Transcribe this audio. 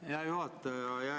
Aitäh, hea juhataja!